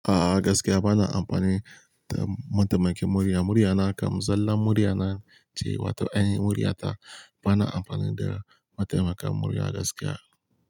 A'a gaskiya bana amfani da mataimakin murya. Murya na kam zallan murya na ce wato yanayin murya ta. Bana amfani da mataimakin murya gaskiya.